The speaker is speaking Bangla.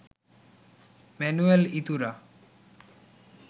Manuel Iturra